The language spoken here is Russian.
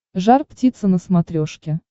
жар птица на смотрешке